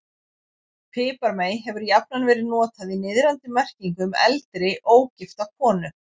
Piparmey hefur jafnan verið notað í niðrandi merkingu um eldri, ógifta konu.